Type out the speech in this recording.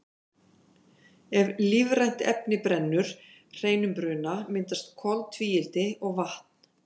ef lífrænt efni brennur hreinum bruna myndast koltvíildi og vatn